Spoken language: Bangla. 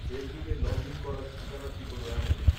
ফেসবুকে লগ ইন করার ঠিকানাটি হল এমন